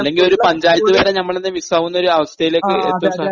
അല്ലെങ്കിൽ ഒരു പഞ്ചായത്ത് തന്നെ നമ്മടെ കയ്യിന്ന് മിസ്സ് ആവുന്ന ഒരു അവസ്ഥയിലേക്ക് എത്തും സാർ..